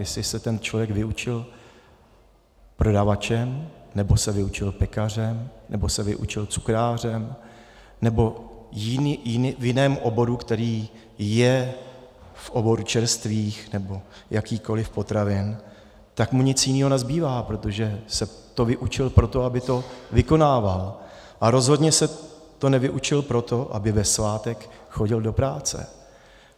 Jestli se ten člověk vyučil prodavačem nebo se vyučil pekařem nebo se vyučil cukrářem nebo v jiném oboru, který je v oboru čerstvých nebo jakýchkoli potravin, tak mu nic jiného nezbývá, protože se to vyučil proto, aby to vykonával, a rozhodně se to nevyučil proto, aby ve svátek chodil do práce.